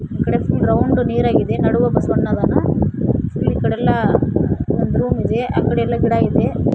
ಇಲ್ಲಿ ರೌಂಡ್ ನೀರಾಗಿದೆ ನಡುವೆ ಬಸವಣ್ಣನ ಅದನ ಇಕಡೆಯಲ್ಲ ಒಂದು ರೂಮ್ ಇದೆ ಆಕಡೆ ಎಲ್ಲಾ ಗಿಡ ಇದೆ.